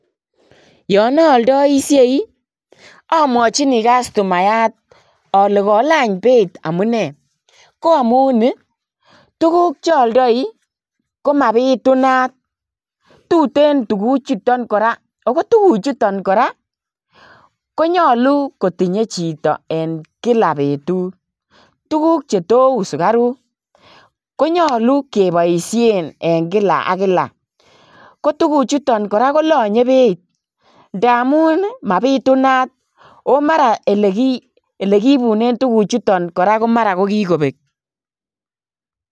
Yoon oldoishei omwochini kastomayat olee kolany beit amune, ko amun tukuk chooldoi ko mabitunat tuten tukuchuton kora ak ko tukuchuton kora konyolu kotinye chito en kila betut, tukuk chetou sukaruk konyolu keboishen en kila ak kila, ko tukuchuton kora kolonye Beit ndamun mabitunat oo mara elekiibunen tukuchuton kora komara kikobek.